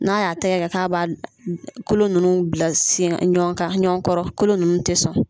N'a y'a tɛgɛ kɛ k'a ba kolo nunnu bila sen kan ɲɔgɔn kan, ɲɔgɔn kɔrɔ kolo nunnu te sɔn.